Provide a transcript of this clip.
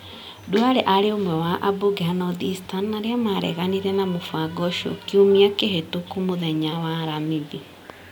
Duale aarĩ ũmwe wa ambunge a North Eastern arĩa mareganire na mũbango ũcio kiumia kĩhĩtoku mũthenya wa aramithi.